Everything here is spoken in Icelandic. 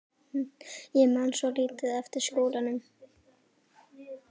Ég man svo lítið eftir skólanum.